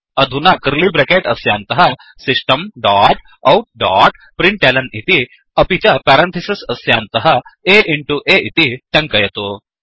अधुना curly bracket अस्यान्तः system dot out डोट्println इति अपि च पेरन्थिसिस् अस्यान्तः a इण्टु aइति टङ्कयतु